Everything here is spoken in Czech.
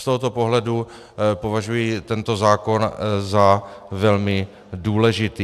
Z tohoto pohledu považuji tento zákon za velmi důležitý.